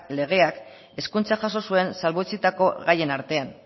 legeak hezkuntza jaso zuen salbuetsitako gaien artean